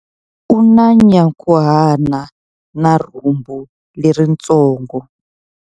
U na nyankhuhana na rhumbu leritsongo.